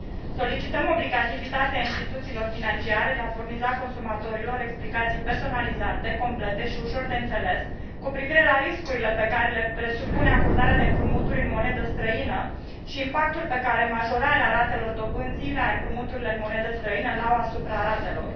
Solicităm obligativitatea instituțiilor financiare de a furniza consumatorilor explicații personalizate, complete și ușor de înțeles cu privire la riscurile pe care le presupune acordarea de împrumuturi în monedă străină și impactul pe care majorarea ratelor dobânzii la împrumuturile în monedă străină îl au asupra ratelor.